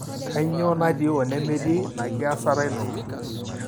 kanyio natii onemetii ina kiasata ino?